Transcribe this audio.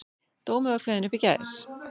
Dómur var kveðinn upp í gær